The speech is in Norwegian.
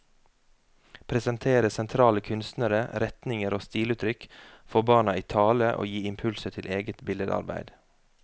Presentere sentrale kunstnere, retninger og stiluttrykk, få barna i tale og gi impulser til eget billedarbeid.